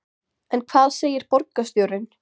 En hvað segir borgarstjóri?